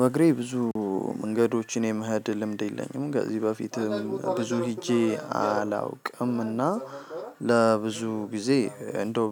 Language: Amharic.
በእግሬ ብዙ መንገዶችን የመሄድ ልምድ የለኝም ከዚህ በፊትም ብዙ ሄጄ አላውቅም እና ለብዙ ጊዜ እንደው